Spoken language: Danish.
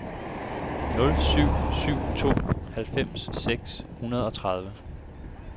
nul syv syv to halvfems seks hundrede og tredive